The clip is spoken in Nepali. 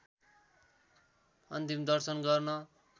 अन्तिम दर्शन गर्न